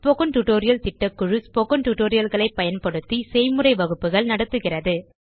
spoken tutorial திட்டக்குழு spoken tutorial களை பயன்படுத்தி செய்முறை வகுப்புகள் நடத்துகிறது